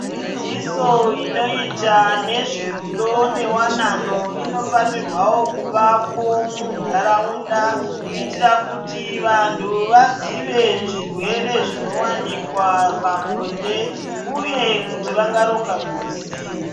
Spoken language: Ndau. Dzidziso inoita nezverudo newanano inofanirwa kuvakwa mundaraunda kuitira kuti vantu vazive zvirwere zvinowanikwa pabonde uye kuti vangaronga mhuri sei.